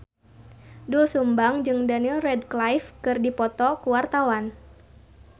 Doel Sumbang jeung Daniel Radcliffe keur dipoto ku wartawan